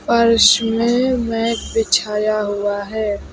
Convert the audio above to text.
फर्श में मैट बिछाया हुआ है।